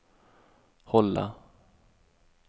hålla